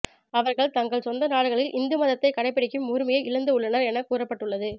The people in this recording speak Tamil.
அவர்கள் தங்கள் சொந்த நாடுகளில் இந்து மதத்தை கடைபிடிக்கும் உரிமையை இழந்து உள்ளனர் என கூறப்பட்டு உள்ளது